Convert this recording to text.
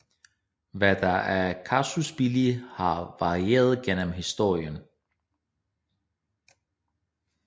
Hvad der er casus belli har varieret gennem historien